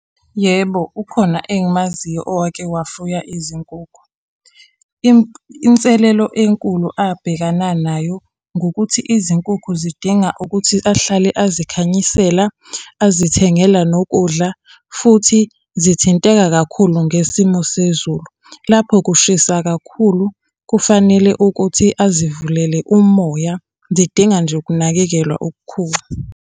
Yebo, ukhona engimaziyo owake wafuya izinkukhu. Inselelo enkulu abhekana nayo ngukuthi izinkukhu zidinga ukuthi ahlale azikhanyisela, azithengela nokudla, futhi zithinteka kakhulu ngesimo sezulu. Lapho kushisa kakhulu kufanele ukuthi azivulele umoya zidinga nje ukunakekelwa okukhulu.